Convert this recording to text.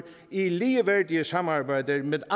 i ligeværdige samarbejder med